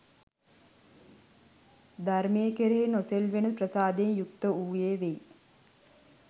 ධර්මය කෙරෙහි නොසෙල්වෙන ප්‍රසාදයෙන් යුක්ත වූයේ වෙයි.